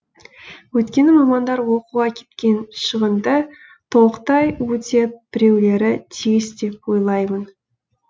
өйткені мамандар оқуға кеткен шығынды толықтай өтеп біреулері тиіс деп ойлаймын